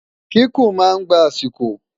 kíkún má ngbà asiko